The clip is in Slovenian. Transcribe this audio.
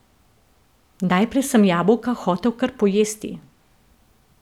Najprej sem jabolka hotel kar pojesti.